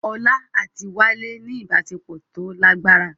Olá àti Wálé ní ìbáṣepọ̀ tó lágbára